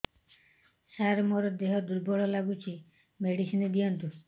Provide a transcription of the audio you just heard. ସାର ମୋର ଦେହ ଦୁର୍ବଳ ଲାଗୁଚି ମେଡିସିନ ଦିଅନ୍ତୁ